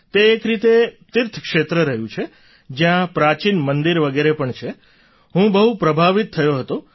તે એક રીતે તીર્થક્ષેત્ર રહ્યું છે જ્યાં પ્રાચીન મંદિર વગેરે પણ છે હું બહુ પ્રભાવિત થયો હતો